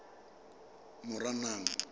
moranang